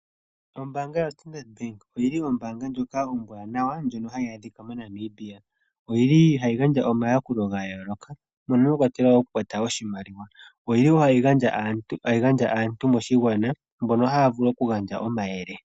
Ombaanga yoStandard bank oyili ombaanga ndjoka ombwaanawa ndjono hayi adhika moNamibia. Oyili hayi gandja omayakulo gayooloka mono mwakwatelwa woo oku kwata oshimaliwa, oyili woo hayi gandja aantu moshigwana mbono haya vulu oku gandja omayele.